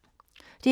DR P2